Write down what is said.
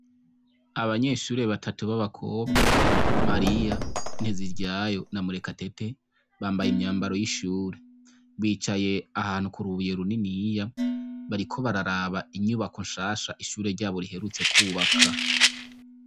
Abanyeshure batatu b'abakobwa Mariya, Nteziryayo na Murekatete, bambaye imyambaro y'ishure , bicaye ahantu k'urubuye runiniya, bariko bararaba inyubako nshasha ishure ryabo riheruka kwubaka.